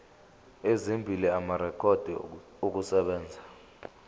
ezimbili amarekhodi okusebenza